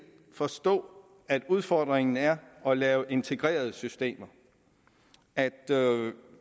forstå at udfordringen er at lave integrerede systemer at